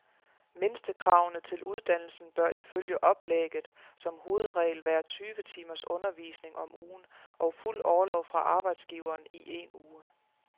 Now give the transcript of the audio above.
Mindstekravene til uddannelsen bør ifølge oplægget som hovedregel være tyve timers undervisning om ugen og fuld orlov fra arbejdsgiveren i en uge.